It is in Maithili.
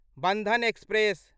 बन्धन एक्सप्रेस